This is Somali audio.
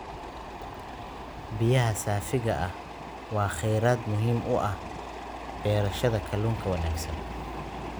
Biyaha saafiga ah waa kheyraad muhiim u ah beerashada kalluunka wanaagsan.